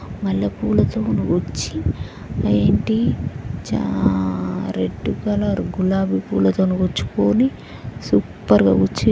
మల్లెపూలతోనీ గుచ్చి చా red colour గులాబి పూలతో గుచ్చుకొని సూపర్ గా గుచ్చి.